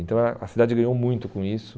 Então a a cidade ganhou muito com isso.